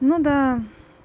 ну да